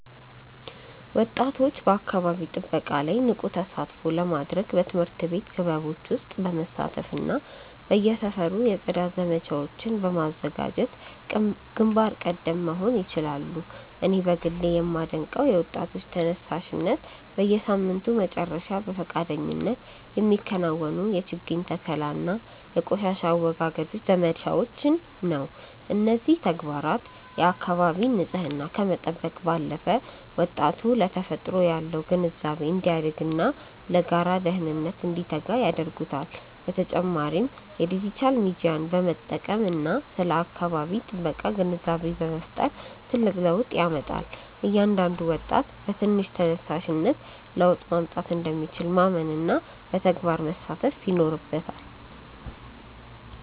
ወጣቶች በአካባቢ ጥበቃ ላይ ንቁ ተሳትፎ ለማድረግ በትምህርት ቤት ክበቦች ውስጥ በመሳተፍና በየሰፈሩ የጽዳት ዘመቻዎችን በማዘጋጀት ግንባር ቀደም መሆን ይችላሉ። እኔ በግሌ የማደንቀው የወጣቶች ተነሳሽነት፣ በየሳምንቱ መጨረሻ በፈቃደኝነት የሚከናወኑ የችግኝ ተከላና የቆሻሻ አወጋገድ ዘመቻዎችን ነው። እነዚህ ተግባራት የአካባቢን ንፅህና ከመጠበቅ ባለፈ፣ ወጣቱ ለተፈጥሮ ያለው ግንዛቤ እንዲያድግና ለጋራ ደህንነት እንዲተጋ ያደርጉታል። በተጨማሪም የዲጂታል ሚዲያን በመጠቀም ስለ አካባቢ ጥበቃ ግንዛቤ መፍጠር ትልቅ ለውጥ ያመጣል። እያንዳንዱ ወጣት በትንሽ ተነሳሽነት ለውጥ ማምጣት እንደሚችል ማመንና በተግባር መሳተፍ ይኖርበታል።